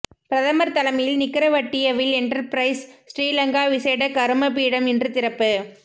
பிரதமர் தலைமையில் நிக்கரவட்டியவில் என்டர்பிரைஸ் ஸ்ரீலங்கா விசேட கருமபீடம் இன்று திறப்பு